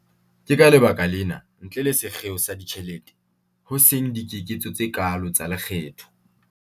Ke ka lebaka lena, ntle le sekgeo sa ditjhelete, ho seng dikeketso tse kaalo tsa lekgetho.